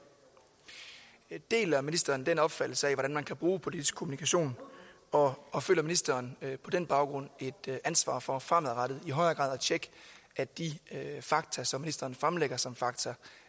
deler ministeren den opfattelse af hvordan man kan bruge politisk kommunikation og og føler ministeren på den baggrund et ansvar for fremadrettet i højere grad at tjekke at de fakta som ministeren fremlægger som fakta